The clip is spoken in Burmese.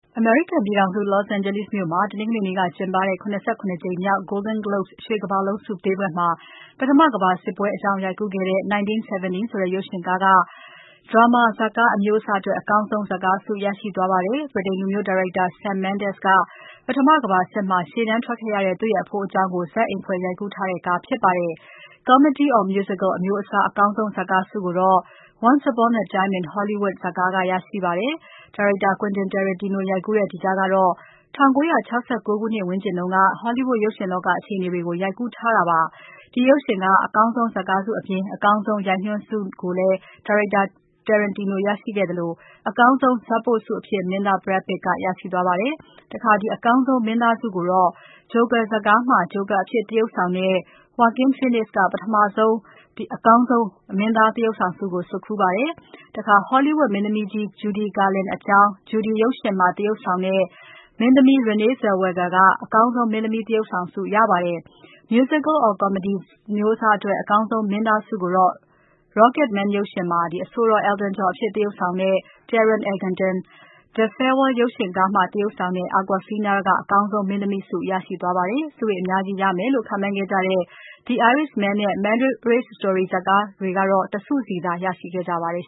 အမေရိကန်ပြည်ထောင်စု Los Angeles မြို့မှာ တနင်္ဂနွေနေ့က ကျင်းပခဲ့တဲ့ ၇၇ ကြိမ်မြောက် Golden Globes ရွှေကမ္ဘာလုံးဆုပေးပွဲမှာ ပထမကမ္ဘာစစ်ပွဲအကြောင်း ရိုက်ကူးတဲ့ 1917 ဆိုတဲ့ ရုပ်ရှင်ကားက drama ဇာတ်ကားအမျိုးအစားအတွက် အကောင်းဆုံး ဇာတ်ကားဆု ရရှိသွားပါတယ်။ ဗြိတိန်လူမျိုး ဒါရိုက်တာ Sam Mendes ကပထမကမ္ဘာစစ်မှာ ရှေ့တန်းထွက်ခဲ့ရတဲ့ သူ့ရဲ့အဖိုးအကြောင်းကို ဇတ်အိမ်ဖွဲ့ရိုက်ကူးထားတဲ့ ကားဖြစ်ပါတယ်။ Comedy or musical အမျိုးအစားမှာ အကောင်းဆုံး ဇာတ်ကားဆုကိုတော့ “Once Upon a Time... in Hollywood'' ဇာတ်ကားက ရရှိပါတယ်။ ဒါရိုက်တာ Quentin Tarantino ရိုက်ကူးတဲ့ ဒီကားကတော့ ၁၉၆၉ ခုနှစ်ဝန်းကျင်က Hollywood ရုပ်ရှင်လောက အခြေအနေတွေကို ရိုက်ကူးထားတာ ဖြစ်ပါတယ်။ ဒီရုပ်ရှင်က အကောင်းဆုံး ဇာတ်ကားဆုအပြင် အကောင်းဆုံး ရိုက်ညွှန်းဆုကိုလည်း ဒါရိုက်တာ Tarantino ရခဲ့သလို အကောင်းဆုံး ဇတ်ပို့ဆုအဖြစ် မင်းသား Brad Pitt ကရရှိသွားပါတယ်။ အကောင်းဆုံး မင်းသားဆုကိုတော့ "Joker" ဇာတ်ကားမှာ Joker အဖြစ်သရုပ်ဆောင်သူ Joaquin Phoenix က အကောင်းဆုံး မင်းသား သရုပ်ဆောင်ဆုကို ဆွတ်ခူးခဲ့ပါတယ်။ Hollywood မင်းသမီးကြီး Judy Garland အကြောင်း Judy ရုပ်ရှင်မှာ သရုပ်ဆောင်တဲ့ မင်းသမီး Renee Zellweger ကအကောင်းဆုံး မင်းသမီး သရုပ်ဆောင်ဆု ရခဲ့ပါတယ်။ Musical or comedy အမျိုးအစားအတွက် အကောင်းဆုံး မင်းသားဆုကိုတော့ Rocketman ရုပ်ရှင်မှာ အဆိုတော် Elton John အဖြစ်သရုပ်ဆောင်တဲ့ Taron Egerton၊ "The Farewell" ဇာတ်ကားမှာ သရုပ်ဆောင်သူ Awkwafina ကအကောင်းဆုံး မင်းသမီးဆု ရရှိသွားကြပါတယ်။ ဆုတွေအများကြီးရမယ်လို့ ခန့်မှန်းခဲ့ကြတဲ့ "The Irishman" နဲ့ “Marriage Story'' ရုပ်ရှင်ကားတွေကတော့ ဆု ၁ ဆုစီသာ ရရှိခဲ့ကြပါတယ်